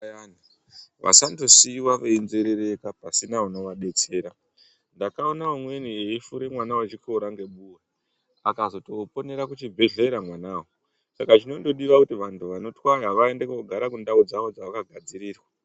Vantu vasandosiiwa venzerereka pasina inovadetsra ndakaona umweni eifura mwana ngebuwe akazotoponera kuchibhedhlera mwanawo saka zvinondoda kuti vantu vanotwaya vaende kugara kundau dzavo dzavakagsdzirirwa.